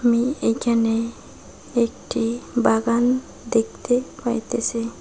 আমি এখানে একটি বাগান দেখতে পাইতেসি।